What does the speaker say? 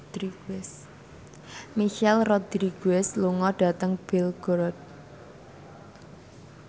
Michelle Rodriguez lunga dhateng Belgorod